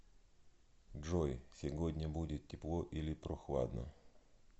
джой сегодня будет тепло или прохладно